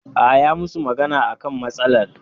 Aa, yayi musu magana akan matsalar